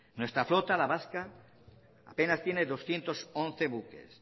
nuestra flota la vasca apenas tiene doscientos once buques